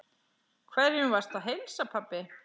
Hverjum varstu að heilsa, pabbi?